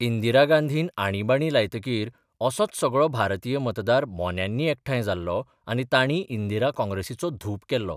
इंदिरा गांधीन आणिबाणी लायतकीर असोच सगळो भारतीय मतदार मोन्यांनी एकठांय जाल्लो आनी तांणी इंदिरा कॉंग्रेसीचो धूप केल्लो.